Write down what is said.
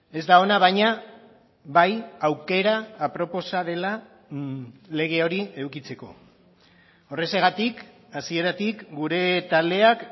ez da ona baina bai aukera aproposa dela lege hori edukitzeko horrexegatik hasieratik gure taldeak